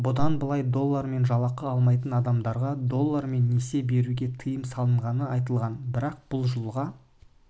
бұдан былай доллармен жалақы алмайтын адамдарға доллармен несие беруге тыйым салынғаны айтылған бірақ бұл жылға